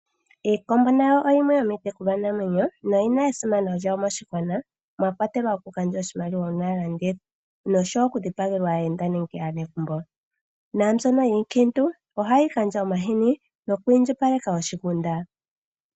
Iikombo nayo oyimwe yomiitekulwanamwenyo noyi na esimano lyawo moshigwgwana mwa kwatelwa okugandja oshimaliwa uuna ya landithwa noshowo okudhipagelwa aayenda nenge aanegumbo. Naambyono yiikiintu ohayi gandja omahini noku indjipaleka oshigunda.